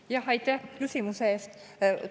Jah, aitäh küsimuse eest!